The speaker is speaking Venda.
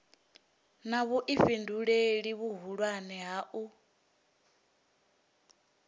na vhuifhinduleli vhuhulwane ha u